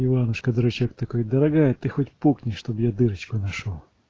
иванушка-дурачок такой дорогая ты хоть пукни чтоб я дырочку нашёл